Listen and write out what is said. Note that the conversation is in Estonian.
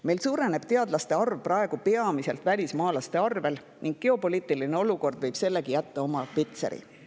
Meil suureneb teadlaste arv praegu peamiselt välismaalaste võrra ning geopoliitiline olukord võib sellelegi jätta oma pitseri.